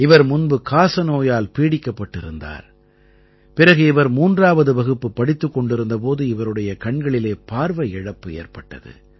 இவர் முன்பு காசநோயால் பீடிக்கப்பட்டிருந்தார் பிறகு இவர் 3ஆவது வகுப்பு படித்துக் கொண்டிருந்த போது இவருடைய கண்களிலே பார்வை இழப்பு ஏற்பட்டது